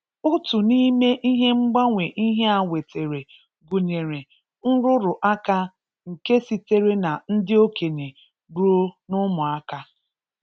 Otu n’ime ihe mgbanwe ihe a wetara gụnyere; nrụrụ aka nke sitere na ndị okenye ruo n’ụmụaka.